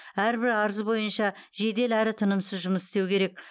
әрбір арыз бойынша жедел әрі тынымсыз жұмыс істеу керек